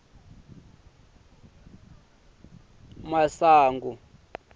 masungi